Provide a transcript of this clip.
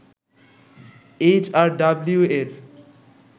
HRW এর